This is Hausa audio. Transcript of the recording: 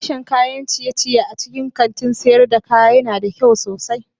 Sashen kayan ciye-ciye a cikin kantin sayar da kaya yana da kyau sosai.